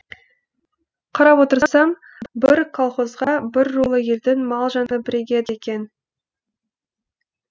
қарап отырсам бір колхозға бір рулы елдің мал жаны бірігеді екен